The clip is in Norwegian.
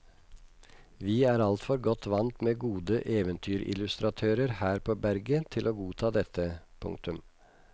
Vi er altfor godt vant med gode eventyrillustratører her på berget til å godta dette. punktum